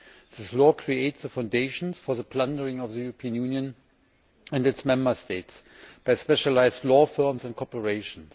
This law creates the foundations for the plundering of the European Union and its Member States by specialised law firms and corporations.